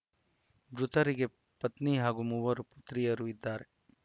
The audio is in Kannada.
ಮೃತರಿಗೆ ಪತ್ನಿ ಹಾಗೂ ಮೂವರು ಪುತ್ರಿಯರು ಇದ್ದಾರೆ